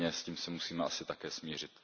S tím se musíme asi také smířit.